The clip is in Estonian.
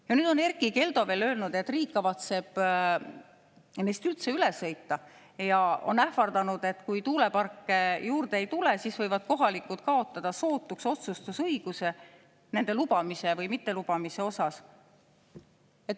Ja nüüd on Erkki Keldo veel öelnud, et riik kavatseb neist üldse üle sõita, ja ähvardanud, et kui tuuleparke juurde ei tule, siis võivad kohalikud kaotada sootuks otsustusõiguse nende lubamise või mittelubamise puhul.